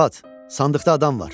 Arvad, sandıqda adam var!